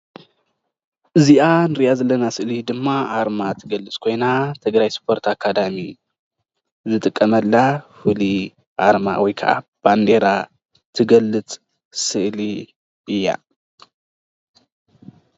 እዚኣ ንሪኣ ዘለና ስእሊ ድማ ኣርማ ትገልፅ ኮይና ትግራይ ስፖርት ኣካዳሚ ዝጥቀመላ ፍሉይ ኣርማ ወይ ከዓ ባንዴራ ትገልፅ ስእሊ እያ ።